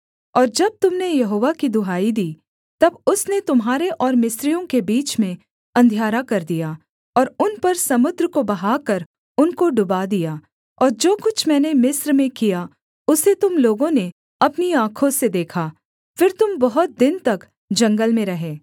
और जब तुम ने यहोवा की दुहाई दी तब उसने तुम्हारे और मिस्रियों के बीच में अंधियारा कर दिया और उन पर समुद्र को बहाकर उनको डुबा दिया और जो कुछ मैंने मिस्र में किया उसे तुम लोगों ने अपनी आँखों से देखा फिर तुम बहुत दिन तक जंगल में रहे